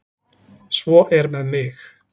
Svo er með mig.